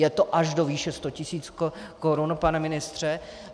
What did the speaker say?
Je to až do výše 100 tisíc korun, pane ministře.